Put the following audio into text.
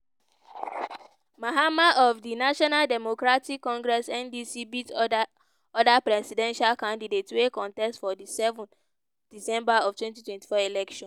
mahama of di national democratic congress (ndc) beat oda oda presidential candidates wey contest for di seven december of twenty twenty four election.